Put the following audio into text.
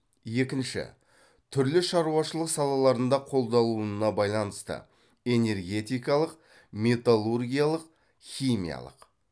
екінші түрлі шаруашылық салаларында қолданылуына байланысты энергетикалық металлургиялық химиялық